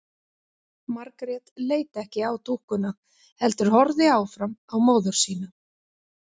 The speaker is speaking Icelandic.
Margrét leit ekki á dúkkuna heldur horfði áfram á móður sína.